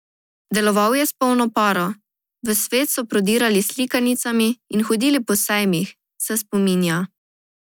Deloval je s polno paro, v svet so prodirali s slikanicami in hodili po sejmih, se spominja.